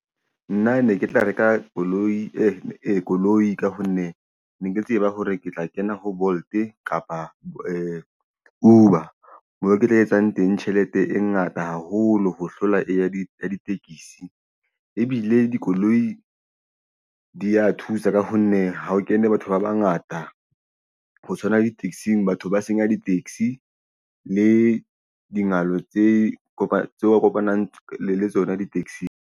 Nna ne ke tla reka koloi ka hone ne ke tseba hore ke tla kena ho Bolt kapa Uber moo ke tla etsang teng tjhelete e ngata haholo ho hlola e ya ditekisi ebile dikoloi di ya thusa ka ho nne ha o kene batho ba bangata ho tshwana le di-taxi-ng batho ba senya di-taxi le dijalo tse kopanang le tsona di-taxi-ng.